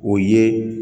O ye